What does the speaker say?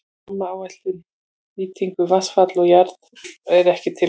Rammaáætlun um nýtingu vatnsafls og jarðvarma er ekki tilbúin.